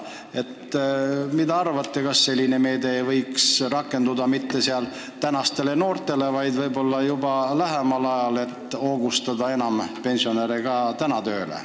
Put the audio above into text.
Mis te arvate, kas selline meede võiks mõjuda mitte ainult praegustele noortele, vaid juba lähemal ajal innustada ka enam pensionäre tööle?